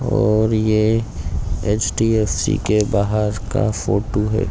और ये एच_डी_एफ_सी के बाहर का फोटो है।